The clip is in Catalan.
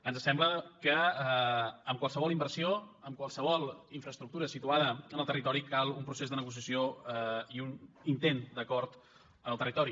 ens sembla que en qualsevol inversió en qualsevol infraestructura situada en el territori cal un procés de negociació i un intent d’acord en el territori